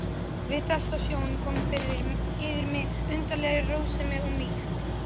Við þessa sjón kom yfir mig undarleg rósemi og mýkt.